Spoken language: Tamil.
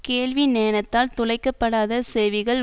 கேள்வி ஞனத்தால் துளைக்க படாத செவிகள்